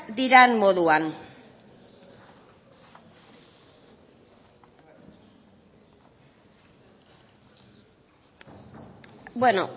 diren moduan beno